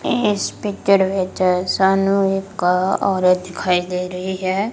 ਇਸ ਪਿਕਚਰ ਵਿੱਚ ਸਾਨੂੰ ਇੱਕ ਓਹ ਔਰਤ ਦਿਖਾਈ ਦੇ ਰਹੀ ਹੈ।